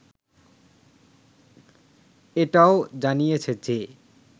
এটাও জানিয়েছে যে